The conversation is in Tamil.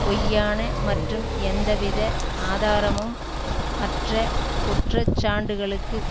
பொய்யான மற்றும் எந்தவித ஆதாரமும் அற்ற குற்ற சாண்டுகளுக்கு